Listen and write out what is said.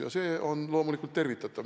Ja see on loomulikult tervitatav.